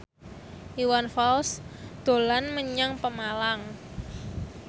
Iwan Fals dolan menyang Pemalang